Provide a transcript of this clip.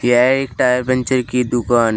यह एक tyre puncture की दुकान है।